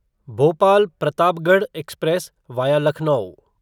Bhopal Pratapgarh express via Lucknow